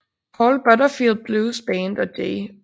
Paul Butterfield Blues Band og J